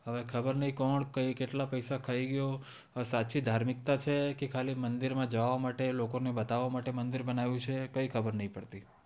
હવે ખબર નય કોણ ક્યુ કેટલા પેસા ખાય ગયું સાચી ધાર્મિકતા છે કે ખાલી મંદિર માં જવા માટે કે લોકો ને બતાવા માટે મંદિર બનાયુ છે કય ખબર નય પડતી